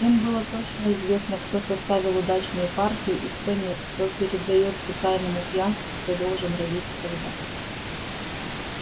им было точно известно кто составил удачную партию и кто нет кто предаётся тайному пьянству кто должен родить и когда